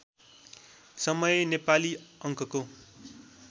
समय नेपाली अङ्कको